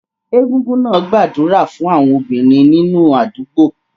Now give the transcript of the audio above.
Egungun náà gbàdúrà fún àwọn obìnrin nínú àdúgbò